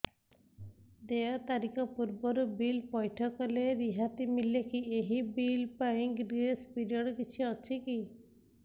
ଦେୟ ତାରିଖ ପୂର୍ବରୁ ବିଲ୍ ପୈଠ କଲେ ରିହାତି ମିଲେକି ଏହି ବିଲ୍ ପାଇଁ ଗ୍ରେସ୍ ପିରିୟଡ଼ କିଛି ଅଛିକି